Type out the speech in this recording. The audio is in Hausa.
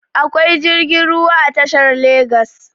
akwai jirgin ruwa a tashar a legas